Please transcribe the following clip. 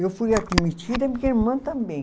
Eu fui admitida e minha irmã também.